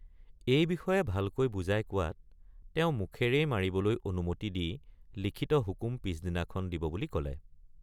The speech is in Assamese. এই বিষয়ে ভালদৰে বুজাই কোৱাত তেওঁ মুখেৰেই মাৰিবলৈ অনুমতি দি লিখিত হুকুম পিচদিনাখন দিব বুলি কলে।